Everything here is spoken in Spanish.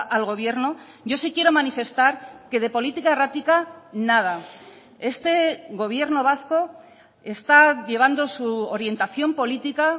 al gobierno yo sí quiero manifestar que de política errática nada este gobierno vasco está llevando su orientación política